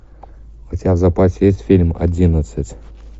у тебя в запасе есть фильм одиннадцать